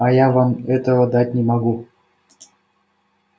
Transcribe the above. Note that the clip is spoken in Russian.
а я вам этого дать не могу